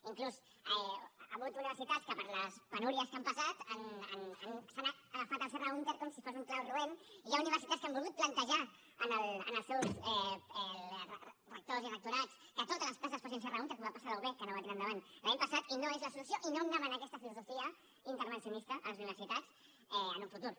inclús hi hagut universitats que per les penúries que han passat s’han agafat al serra húnter com si fos un clau roent i hi ha universitats que han volgut plantejar als seus rectors i rectorats que totes les places fossin serra húnter com va passar a la ub que no va tirar endavant l’any passat i no és la solució i no hem d’anar amb aquesta filosofia intervencionista a les universitats en un futur